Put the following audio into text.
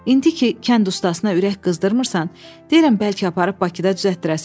İndi ki, kənd ustasına ürək qızdırmırsan, deyirəm bəlkə aparıb Bakıda düzəltdirəsən.